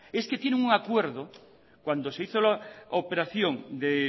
es que tienen un acuerdo cuando se hizo la operación de